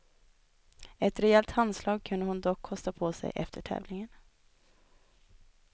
Ett rejält handslag kunde hon dock kosta på sig efter tävlingen.